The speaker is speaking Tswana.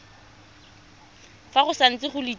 fa go santse go letilwe